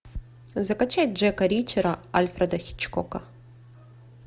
закачай джека ричера альфреда хичкока